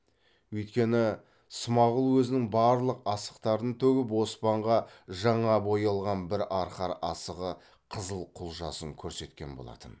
өйткені смағұл өзінің барлық асықтарын төгіп оспанға жаңа боялған бір арқар асығы қызыл құлжасын көрсеткен болатын